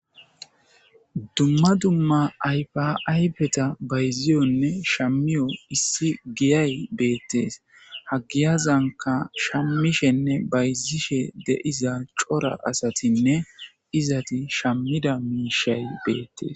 Dumma dumma ayfaaybeta bayziyonne shammiyo issi giyay beettees hagiyazanka shammishenne bayzishe deiza cora asatinne izati shammida miishay beettes